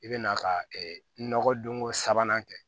I bɛ na ka nɔgɔdon ko sabanan kɛ